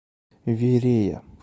верея